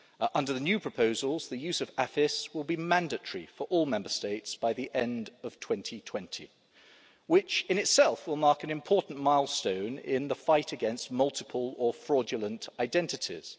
Under the new proposals, the use of AFIS will be mandatory for all Member States by the end of 2020, which in itself will mark an important milestone in the fight against multiple or fraudulent identities.